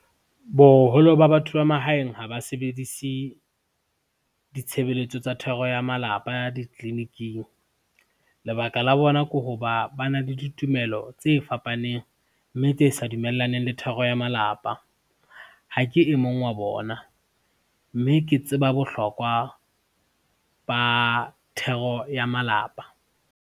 Boholo ba batho ba mahaeng ha ba sebedise, ditshebeletso tsa thero ya malapa ditliliniking. Lebaka la bona ke ho ba, ba na le ditumelo tse fapaneng, mme tse sa dumellaneng le thero ya malapa. Ha ke e mong wa bona, mme ke tseba bohlokwa, ba thero ya malapa.